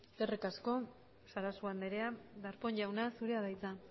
eskerrik asko sarasua andrea darpón jauna zurea da hitza